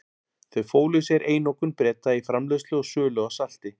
Þau fólu í sér einokun Breta í framleiðslu og sölu á salti.